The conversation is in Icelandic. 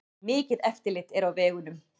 Mikið eftirlit er á vegunum